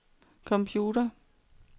computer